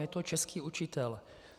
Je to český učitel.